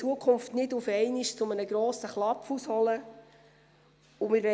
Wir gehen folgendermassen vor: